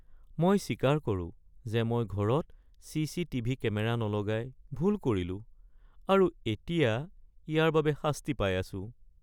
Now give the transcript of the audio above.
মই স্বীকাৰ কৰোঁ যে মই ঘৰত চি. চি. টিভি কেমেৰা নলগাই ভুল কৰিলোঁ আৰু এতিয়া ইয়াৰ বাবে শাস্তি পাই আছোঁ। (নাগৰিক)